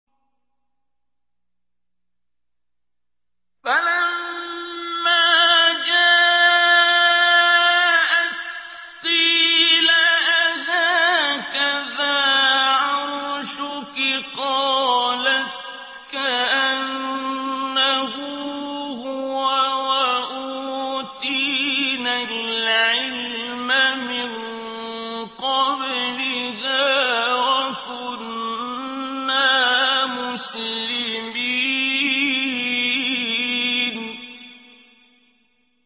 فَلَمَّا جَاءَتْ قِيلَ أَهَٰكَذَا عَرْشُكِ ۖ قَالَتْ كَأَنَّهُ هُوَ ۚ وَأُوتِينَا الْعِلْمَ مِن قَبْلِهَا وَكُنَّا مُسْلِمِينَ